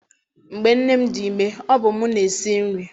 Mgbe nne m dị ime, ọ bụ mụ na-esi nri.